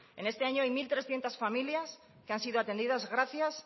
en este año hay mil trescientos familias que han sido atendidas gracias